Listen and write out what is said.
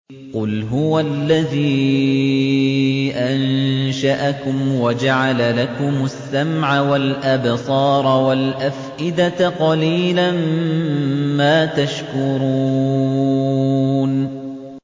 قُلْ هُوَ الَّذِي أَنشَأَكُمْ وَجَعَلَ لَكُمُ السَّمْعَ وَالْأَبْصَارَ وَالْأَفْئِدَةَ ۖ قَلِيلًا مَّا تَشْكُرُونَ